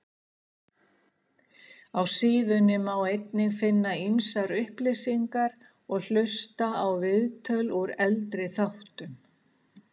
Á síðunni má einnig finna ýmsar upplýsingar og hlusta á viðtöl úr eldri þáttum.